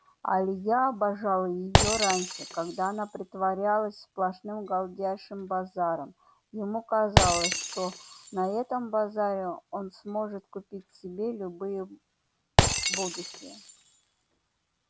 а илья обожал её раньше когда она притворялась сплошным галдящим базаром ему казалось что на этом базаре он сможет купить себе любые будущее